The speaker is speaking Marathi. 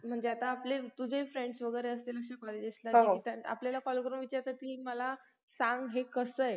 काही पण आपण डाळ भाजी chicken बिकन काही पण चालतं.